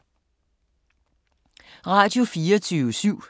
Radio24syv